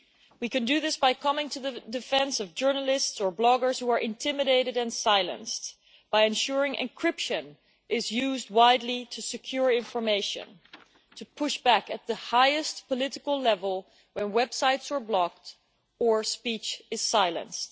We can do this by coming to the defence of journalists or bloggers who are intimidated and silenced, by ensuring encryption is used widely to secure information, and by pushing back at the highest political level when websites are blocked or speech is silenced.